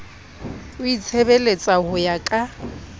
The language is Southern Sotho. o itshebeletsa ho ya ka